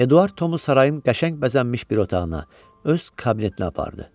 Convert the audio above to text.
Eduard Tomu sarayın qəşəng bəzənmiş bir otağına, öz kabinetinə apardı.